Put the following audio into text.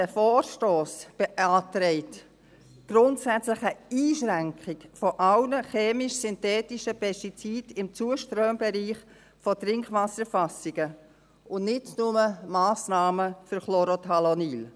Dieser Vorstoss beantragt grundsätzlich eine Einschränkung aller chemisch-synthetischen Pestizide im Zuströmbereich von Trinkwasserfassungen, nicht nur Massnahmen für Chlorothalonil.